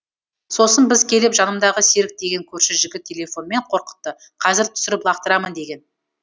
сосын біз келіп жанымдағы серік деген көрші жігіт телефонмен қорқытты қазір түсіріп лақтырамын деген